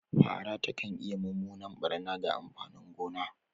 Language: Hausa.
Fara takan iya mummunan barna ga amfanin gona.